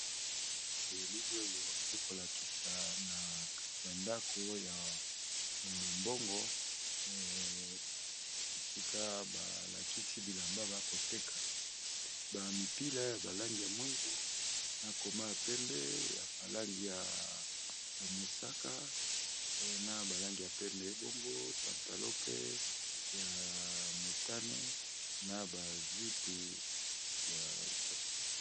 Elili oyo ekolakisa nakati ya ndako ya bomombongo esika ba lakisi bilamba bakoteka ba mipila ya ba langi moyindu na koma ya pembe ya ba langi ya mosaka na ba langi pembe bongo na pantalon pe motani na ba jupes ya basi.